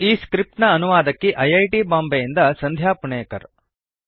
ಈ ಸ್ಕ್ರಿಪ್ಟ್ ನ ಅನುವಾದಕಿ ಐ ಐ ಟಿ ಬಾಂಬೆಯಿಂದ ಸಂಧ್ಯಾ ಪುಣೇಕರ್